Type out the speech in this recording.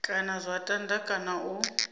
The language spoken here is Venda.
kana zwa tanda kana u